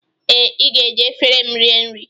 Ee, ị ga-eji efere m rie nri